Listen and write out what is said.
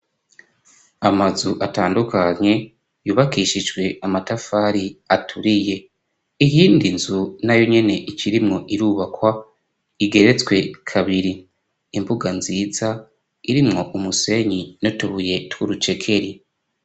Amazu atandukanye yubakishijwe amatafari aturiye, iyindi nzu nayo nyene ikirimwo irubakwa igeretswe kabiri, imbuga nziza irimwo umusenyi n'utubuye tw'urucekeri.